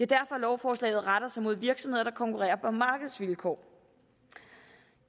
derfor lovforslaget retter sig mod virksomheder der konkurrerer på markedsvilkår